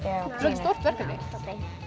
stórt verkefni